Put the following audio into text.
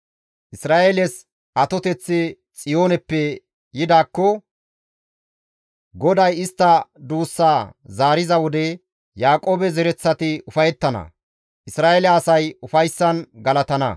Isra7eeles atoteththi Xiyooneppe yidaakko! GODAY istta duussa zaariza wode Yaaqoobe zereththati ufayettana; Isra7eele asay ufayssan galatana.